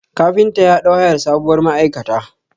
Kafinta ya ɗau hayar sabuwar ma'aikata.